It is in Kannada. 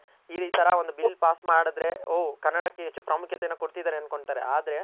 ಈ ತರ ಒಂದ್ bill pass ಮಾಡದ್ರೆ ಓ ಕನ್ನಡಕ್ಕೆ ಎಷ್ಟು ಪ್ರಾಮುಖ್ಯತೆಯನ ಕೊಡ್ತಿದಾರೆ ಅನ್ಕೊಂತಾರೆ ಆದ್ರೆ